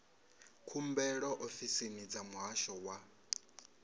khumbelo ofisini dza muhasho wa